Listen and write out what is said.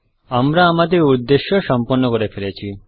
আমরা আমাদের উদ্দেশ্য সম্পন্ন করে ফেলেছি